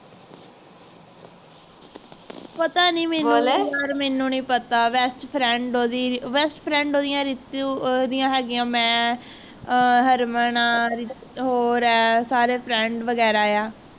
ਪਤਾ ਨੀ ਮੈਨੂੰ ਯਾਰ ਮੈਨੂੰ ਨੀ ਪਤਾ best friend ਓਹਦੀ best friend ਓਹਦੀਆਂ ਰਿਤੂ ਓਹਦੀਆਂ ਹੈਗੀਆਂ ਮੈਂ ਆਹ ਹਰਮਨ ਹਾ ਹੋਰ ਹੈ ਸਾਰੇ friend ਵਗੈਰਾ ਆ